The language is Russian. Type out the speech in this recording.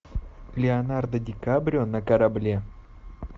леонардо ди кабрио на корабле